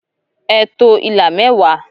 Ẹ to ila mẹwa!